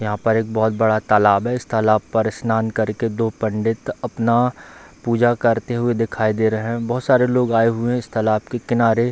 यहाँ पर एक बहुत बड़ा तालाब है | इस तालाब पर स्नान कर के दो पण्डित अपना पूजा करते हुए दिखाई दे रहे हैं | बहुत सारे लोग आये हुए हैं इस तालाब के किनारे |